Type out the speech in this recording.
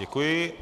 Děkuji.